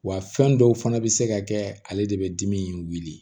Wa fɛn dɔw fana bɛ se ka kɛ ale de bɛ dimi in wuli